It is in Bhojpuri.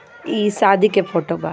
ई शादी के फोटो बा।